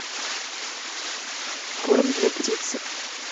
корм для птицы